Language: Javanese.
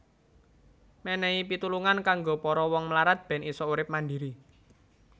Mènèhi pitulungan kanggo para wong mlarat bèn isa urip mandhiri